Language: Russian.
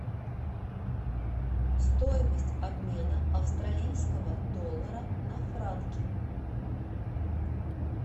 стоимость обмена австралийского доллара на франки